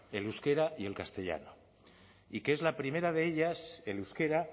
el euskera y el castellano y que es la primera de ellas el euskera